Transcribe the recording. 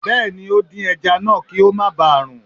Bẹ́ẹ̀ni, ó dín ẹja náà kí ó má ba rún